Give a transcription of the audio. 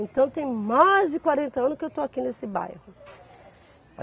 Então tem mais de quarenta anos que eu estou aqui nesse bairro.